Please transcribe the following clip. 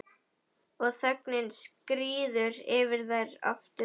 Og þögnin skríður yfir þær aftur.